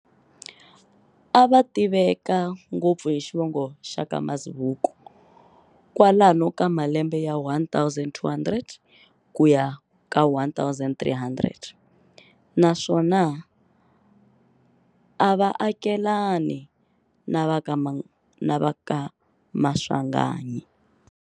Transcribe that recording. Ava tiveka ngopfu hi xivongo xaka Mazibuko, kwalomu ka malembe ya 1200 kuya ka 1300, naswona ava akelani na vaka Maswanganyi.